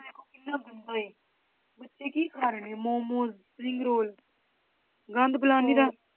ਦੇਖੋ ਕਿੰਨਾ ਗੰਦਾ ਹੈ, ਬੱਚੇ ਕੀ ਖਾ ਰਹੇ ਨੇ ਮੋਮੋਸ, ਸਪਰਿੰਗ ਰੋਲ ਗੰਦ ਫਲਾਨੀ ਤਾਂ